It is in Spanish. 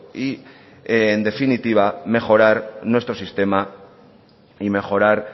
y en definitiva mejorar nuestro sistema y mejorar